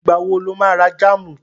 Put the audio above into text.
Ìgbà wo lo má ra jáàmù?